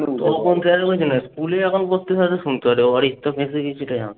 স্কুলে যখন ভর্তি হয়, তখন শুনতো।